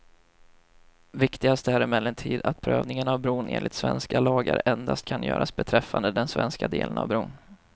Viktigast är emellertid att prövningen av bron enligt svenska lagar endast kan göras beträffande den svenska delen av bron.